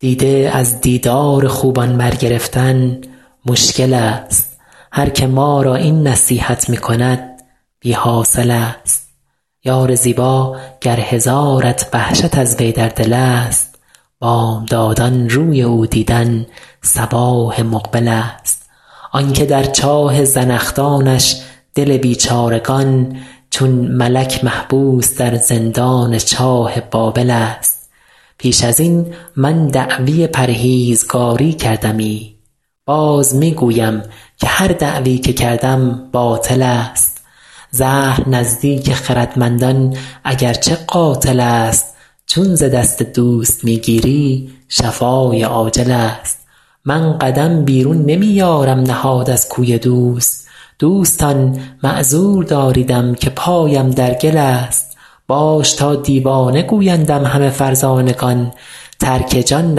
دیده از دیدار خوبان برگرفتن مشکل ست هر که ما را این نصیحت می کند بی حاصل ست یار زیبا گر هزارت وحشت از وی در دل ست بامدادان روی او دیدن صباح مقبل ست آن که در چاه زنخدانش دل بیچارگان چون ملک محبوس در زندان چاه بابل ست پیش از این من دعوی پرهیزگاری کردمی باز می گویم که هر دعوی که کردم باطل ست زهر نزدیک خردمندان اگر چه قاتل ست چون ز دست دوست می گیری شفای عاجل ست من قدم بیرون نمی یارم نهاد از کوی دوست دوستان معذور داریدم که پایم در گل ست باش تا دیوانه گویندم همه فرزانگان ترک جان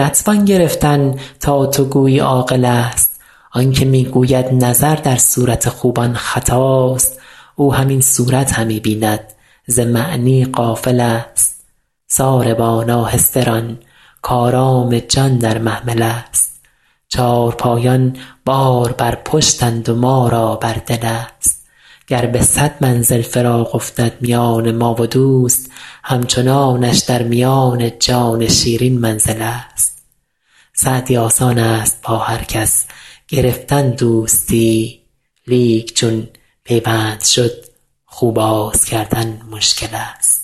نتوان گرفتن تا تو گویی عاقل ست آن که می گوید نظر در صورت خوبان خطاست او همین صورت همی بیند ز معنی غافل ست ساربان آهسته ران کآرام جان در محمل ست چارپایان بار بر پشتند و ما را بر دل ست گر به صد منزل فراق افتد میان ما و دوست همچنانش در میان جان شیرین منزل ست سعدی آسان ست با هر کس گرفتن دوستی لیک چون پیوند شد خو باز کردن مشکل ست